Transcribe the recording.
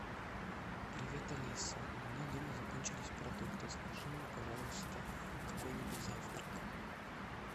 привет алиса у меня дома закончились продукты закажи мне пожалуйста какой нибудь завтрак